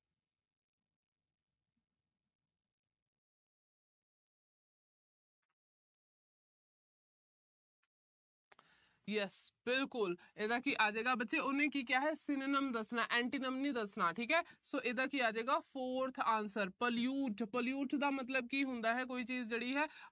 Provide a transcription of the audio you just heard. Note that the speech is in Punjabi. yes ਬਿਲਕੁਲ। ਇਹਦਾ ਕੀ ਆਜੇਗਾ। ਬੱਚੇ ਉਹਨੇ ਕੀ ਕਿਹਾ ਹੈ। synonyms ਦੱਸਣਾ ਹੈ antonyms ਨਹੀਂ ਦੱਸਣਾ, ਠੀਕ ਹੈ। so ਇਹਦਾ ਕੀ ਆਜੇਗਾ, forth answer pollute pollute ਦਾ ਮਤਲਬ ਕੀ ਹੁੰਦਾ ਕੋਈ ਚੀਜ ਜਿਹੜੀ ਹੈ